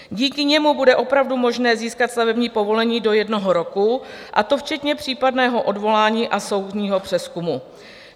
Díky němu bude opravdu možné získat stavební povolení do jednoho roku, a to včetně případného odvolání a soudního přezkumu.